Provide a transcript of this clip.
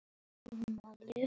Glámu stóra jór er með.